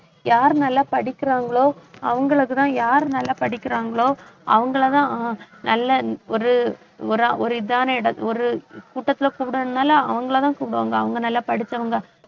யாரு நல்லா படிக்கறாங்களோ அவங்களுக்குத்தான் யார் நல்லா படிக்கறாங்களோ அவங்களைதான் ஆஹ் நல்ல ஒரு ஒரு இதான ஒரு கூட்டத்துல கூப்பிடுனாலும் அவங்களைதான் கூப்பிடுவாங்க அவங்க நல்லா படிச்சவங்க